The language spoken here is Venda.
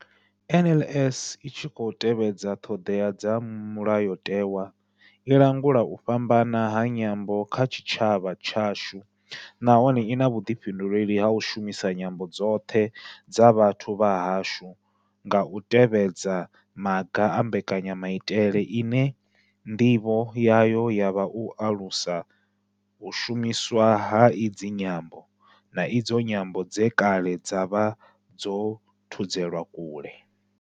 NLS I tshi khou tevhedza ṱhodea dza Mulayotewa, i langula u fhambana ha nyambo kha tshitshavha tshashu nahone I na vhuḓifhinduleli ha u shumisa nyambo dzoṱhe dza vhathu vha hashu nga u tevhedza maga a mbekanya maitele ine ndivho yayo ya vha u alusa u shumiswa ha idzi nyambo, na idzo nyambo dze kale dza vha dzo thudzelwa kule.